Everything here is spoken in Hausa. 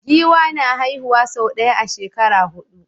Giwa na haihuwa sau ɗaya a shekara hudu